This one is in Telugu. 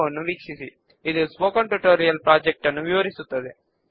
అంటే ఆ బుక్ రిటర్న్ చేయబడింది లేదా చెక్డ్ ఇన్ అయింది